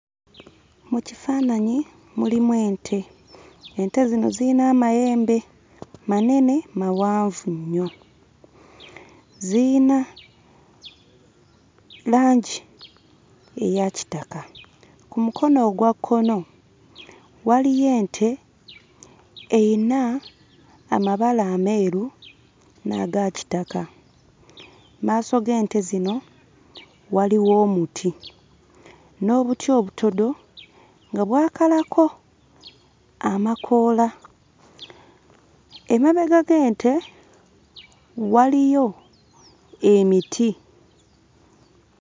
Mu kifaananyi mulimu ente. Ente zino ziyina amayembe manene, mawanvu nnyo. Ziyina langi eya kitaka, ku mukono ogwa kkono waliyo ente eyina amabala ameeru n'aga kitaka, mu maaso g'ente zino waliwo omuti n'obuti obutodo nga bwakalako amakoola. Emabega g'ente waliyo emiti.